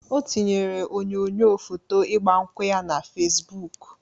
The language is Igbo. O tinyere onyoyo foto igba nkwu ya na Fesbụk.